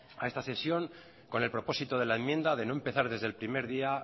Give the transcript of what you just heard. a esta sesión con el propósito de la enmienda de no empezar desde el primer día